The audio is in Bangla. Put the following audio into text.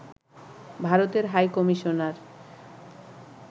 ভারতের হাইকমিশনার